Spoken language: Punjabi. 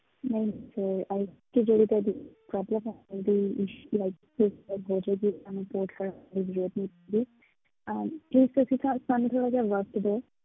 ਨਹੀਂ sir ਜਿਹੜੀ ਤੁਹਾਡੀ problem ਹੈ ਅਮ please ਤੁਸੀਂ ਸਾਨੂੰ ਥੋੜ੍ਹਾ ਜਿਹਾ ਵਕਤ ਦਓ।